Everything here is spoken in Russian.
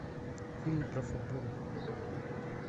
фильм про футбол